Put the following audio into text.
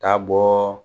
Taa bɔ